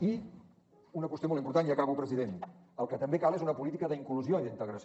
i una qüestió molt important i acabo president el que també cal és una política d’inclusió i d’integració